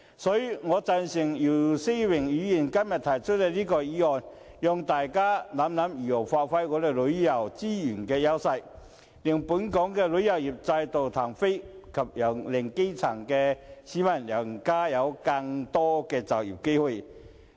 所以，我贊成姚思榮議員今天提出的這項議案，讓大家想想如何發揮香港旅遊資源的優勢，令本港旅遊業再度起飛，以及令基層的市民有更多就業機會。